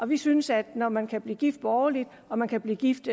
vi synes at når man kan blive gift borgerligt og man kan blive gift